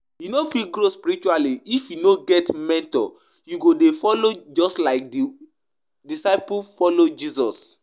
You no fit grow spiritually if you no get mentor you go dey follow just like the disciples follow Jesus